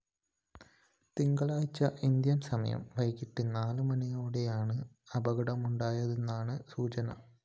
തിങ്കളാഴ്ച ഇന്ത്യന്‍ സമയം വൈകിട്ട് നാല് മണിയോടെയാണ് അപകടമുണ്ടായതെന്നാണ് സൂചന